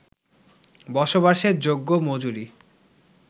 বসবাসের যোগ্য মজুরি